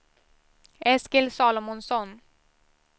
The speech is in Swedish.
Eskil Salomonsson